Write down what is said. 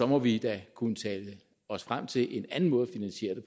må vi da kunne tale os frem til en anden måde at finansiere det